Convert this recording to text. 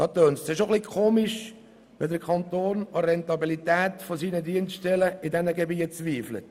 Es klingt dann schon eigenartig, wenn der Kanton an der Rentabilität seiner Dienststellen in diesen Gebieten zweifelt.